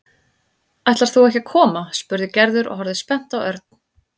Ætlar þú ekki að koma? spurði Gerður og horfði spennt á Örn.